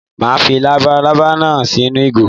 Màá fi labalábá náà sínú ìgò